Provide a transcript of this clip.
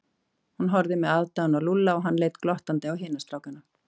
Hún horfði með aðdáun á Lúlla og hann leit glottandi á hina strákana.